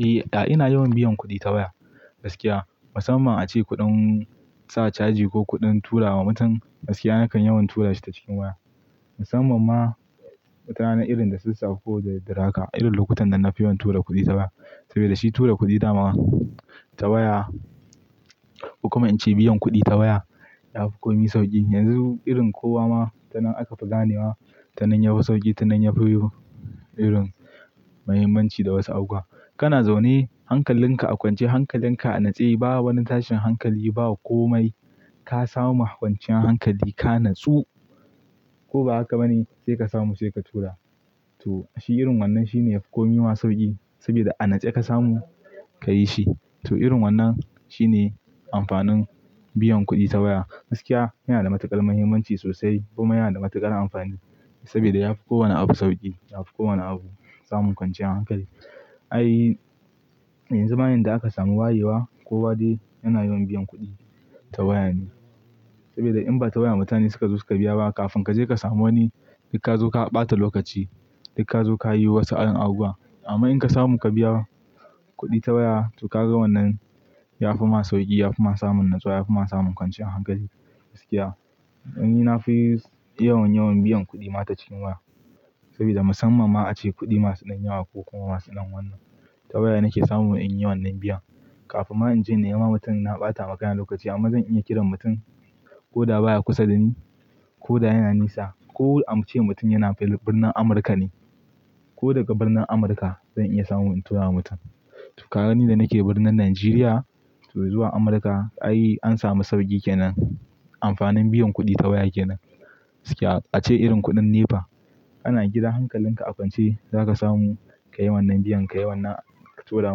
Eh, ina yawan biyan kuɗi ta waya gaskiya. Musamman a ce kuɗin sa caji ko kuɗin tura wa mutum gaskiya nakan yawan tura shi ta cikin waya. Musamman ma mutane irin da sassafe koh daddare haka, irin lokutan da na fi yawan tura kuɗi ta waya. Saboda shi tura kuɗi dama ta waya, ko kuma in ce biyan kuɗi ta waya yafi komai sauƙi. Yanzu irin kowa ma tanan aka fi ganewa, tanan yafi sauƙi, tanan yafi irin muhimmanci da wasu abubuwa. Kana zaune hankalinka a kwance, hankalinka a natse, ba wani tashin hankali, ba komai. Ka samu kwanciyar hankali, ka natsu ko ba haka ba ne, sai ka samu sai ka tura. To shi irin wannan shine yafi komai ma sauƙi saboda a natse ka samu ka yi shi. To irin wannan shine amfanin biyan kuɗi ta waya gaskiya. Yana da matuƙar muhimmanci sosai kuma yana da matuƙar amfani saboda yafi kowane abu sauƙi, yafi kowane abu samun kwanciyar hankali. Ai yanzu ma yanda aka samu wayewa kowa dai yana yawan biyan kuɗi ta waya ne. Saboda in ba ta waya mutane suka zo su ka biya ba, kafin ka je ka samu wani sai ka zo ka ɓata lokaci, sai ka zo ka yi wasu yan abubuwa. Amma in ka samu ka biya kuɗi ta waya, to ka ga wannan yafi ma sauƙi, yafi ma samun natsuwa, yafi ma samun kwanciyar hankali gaskiya. Ni na fi yawan, yawan biyan kuɗi ma ta cikin waya saboda musamman ma a ce kuɗi masu nan yawa ko kuma masu nan wannan ta waya nake samu in yi wannan biya. Kafin ma in je nema mutum na ɓata makayan lokaci amma zan iya kiran mutum ko da baya kusa da ni, ko da yana nesa ko a ce mutum yana birnin Amurka ne ko daga birnin Amurka zan iya samu in tura wa mutum. To, ga ni da nake birnin Najeriya to zuwa Amurka ai an sami sauƙi kenan. Amfanin biyan kuɗi ta waya kenan gaskiya. A ce irin kuɗin NEPA, ana gidan hankalinka a kwance za ka samu ka yi wannan biyan, ka yi wannan ka tura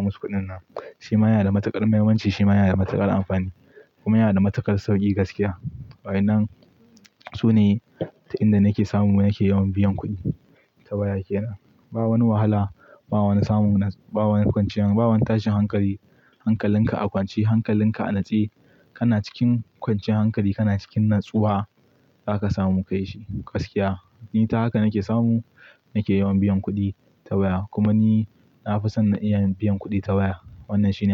musu kuɗin nan. Shi ma yana da matuƙar muhimmanci, shi ma yana da matuƙar amfani kuma yana da matuƙar sauƙi gaskiya. Bayanan sune ta inda nake samu nake yawan biyan kuɗi ta baya kenan. Ba wani wahala, ba wani samun, ba wani kwanciyan, ba wani tashin hankali. Hankalinka a kwance, hankalinka a natse, kana cikin kwanciyar hankali, kana cikin natsuwa za ka samu ka yi shi gaskiya. Ni ta haka nake samu nake yawan biyan kuɗi ta waya. Kuma ni na fi son na iya biyan kuɗi ta waya wannan shi ne.